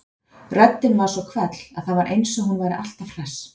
Röddin var svo hvell að það var eins og hún væri alltaf hress.